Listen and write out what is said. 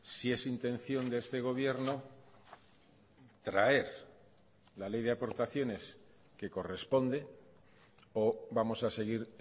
si es intención de este gobierno traer la ley de aportaciones que corresponde o vamos a seguir